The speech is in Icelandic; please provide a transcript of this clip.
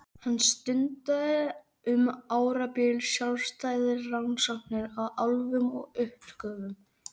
Hann stundaði um árabil sjálfstæðar rannsóknir á álfum og uppgötvaði